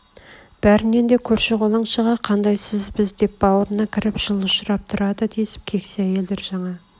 бәрнен де көрші-қолаңшыға қандай сіз біз деп бауырыңа кіріп жылы ұшырап тұрады десіп кексе әйелдер жаңа